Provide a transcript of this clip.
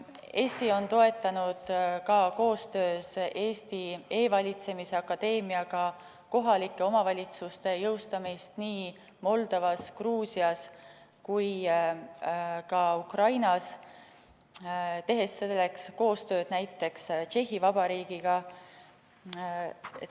Eesti on toetanud ka koostöös E-riigi Akadeemiaga kohalike omavalitsuste jõustamist nii Moldovas, Gruusias kui ka Ukrainas, tehes selleks koostööd näiteks Tšehhi Vabariigiga.